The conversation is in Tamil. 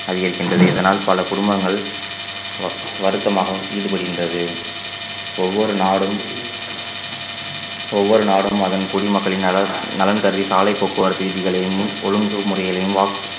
அதிகரிக்கின்றது இதனால் பல குடும்பங்கள் வ~ வருத்தமாகவும் ஈடுபடுகின்றது ஒவ்வொரு நாடும் ஒவ்வொரு நாடும் அதன் குடிமக்களின் நலன் நலன் கருதி சாலைப் போக்குவரத்து விதிகளையும் ஒழுங்கு முறைகளையும்